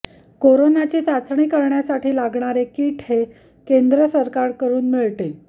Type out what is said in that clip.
कोरोनाची चाचणी करण्यासाठी लागणारे किट हे केंद्र सरकारकडून मिळते